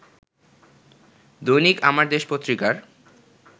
দৈনিক আমার দেশ পত্রিকার